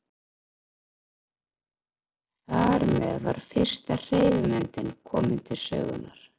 Þar með var fyrsta hreyfimyndin komin til sögunnar.